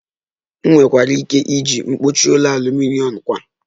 Ị nwekwara ike iji mkpuchi ụlọ aluminom kwa